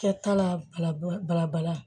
Kɛta la balabala bala